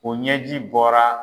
U ɲɛji bɔra!